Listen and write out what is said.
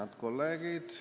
Head kolleegid!